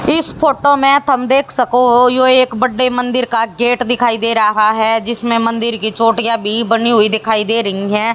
इस फोटो में थम देख सको हो यो एक बड्डे मंदिर का गेट दिखाई दे रहा है जिसमें मंदिर की चोटियां भी बनी हुई दिखाई दे रही है।